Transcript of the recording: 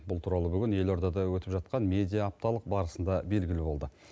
бұл туралы бүгін елордада өтіп жатқан медиа апталық барысында белгілі болды